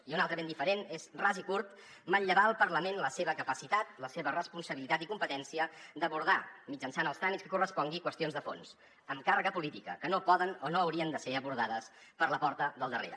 i una altra ben diferent és ras i curt manllevar al parlament la seva capacitat la seva responsabilitat i competència d’abordar mitjançant els tràmits que correspongui qüestions de fons amb càrrega política que no poden o no haurien de ser abordades per la porta del darrere